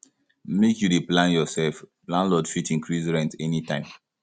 make you dey plan yoursef landlord fit increase rent anytime